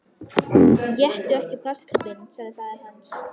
Éttu ekki plastkubbinn, sagði faðir hans.